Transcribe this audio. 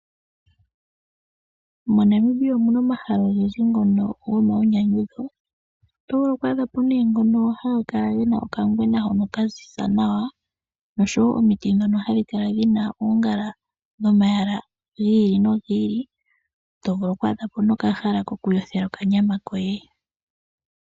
MoNamibia omuna omahala ogendji ngono gomainyanyudho. Opuna nee ngono haga kala gena okangwena nee kaziza nawa nosho woo omiti dhono hadhi kala dhina oongala dhomayala gi ili noyi ili nosho woo ethimbo limwe to vulu oku a dhapo okahala kokule yothela okanyama koye.